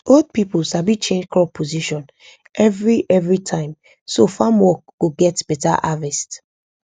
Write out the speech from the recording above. old people sabi change crop position every every time so farm work go get better harvest